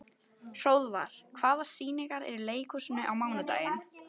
Hróðvar, hvaða sýningar eru í leikhúsinu á mánudaginn?